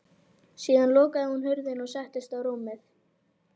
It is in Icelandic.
Síðan lokaði hún hurðinni og settist á rúmið.